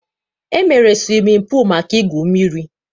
E meere siwimin pul maka ị gwụ mmiri